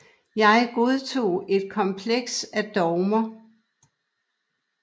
Jeg godtog et kompleks af dogmer